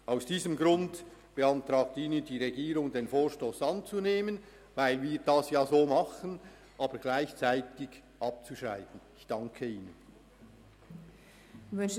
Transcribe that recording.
Aus diesem Grund beantragt Ihnen die Regierung, den Vorstoss anzunehmen, ihn aber gleichzeitig abzuschreiben, weil sie bereits im Sinn desselben handelt.